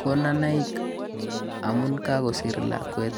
konunoik amun kakosiir lakwet.